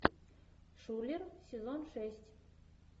шулер сезон шесть